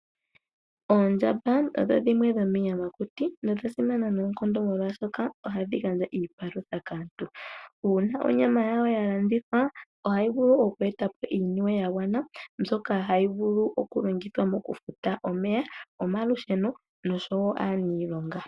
Oondjamba odho dhimwe dho miiyamakuti, nodha simana nookondo molwashoka ohadhi gandja iipalutha kaantu, uuna onyama yayo ya landithwa ohayi vulu oku eta po iiyemo ya gana mbyoka hayi vulu moku longithwa oku futa omeya, omalusheno noshowo aaniilonga.